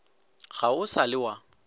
ga o sa le wa